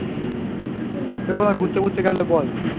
তুই কোথাও ঘুরতে টুরতে গেলে বল?